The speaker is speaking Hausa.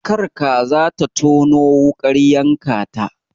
Kar kaza ta tono wuƙar yanka ta.